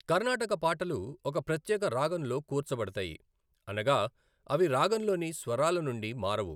కర్ణాటక పాటలు ఒక ప్రత్యేక రాగంలో కూర్చబడతాయి, అనగా అవి రాగంలోని స్వరాలనుండి మారవు.